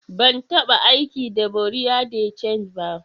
Ban tabba aiki da bureau de change ba.